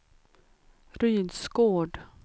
Rydsgård